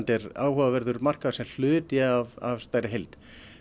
er áhugaverður markaður sem hluti af stærri heild